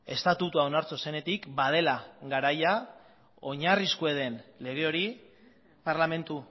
estatutua onartu zenetik badela garaia oinarrizkoa den lege hori parlamentu